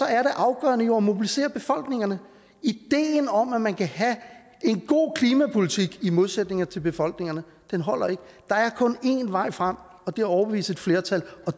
er det afgørende jo at mobilisere befolkningerne ideen om at man kan have en god klimapolitik der i modsætning til befolkningerne holder ikke der er kun én vej frem og det overbevise et flertal og